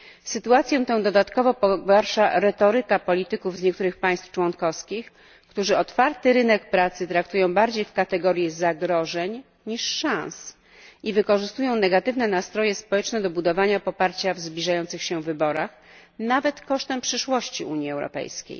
Sytuację tę dodatkowo pogarsza retoryka polityków z niektórych państw członkowskich, którzy otwarty rynek pracy traktują bardziej w kategorii zagrożeń niż szans i wykorzystują negatywne nastroje społeczne do budowania poparcia w zbliżających się wyborach, nawet kosztem przyszłości Unii Europejskiej.